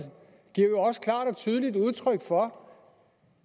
tydeligt udtryk for